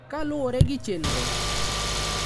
Kaluwore gi chenro,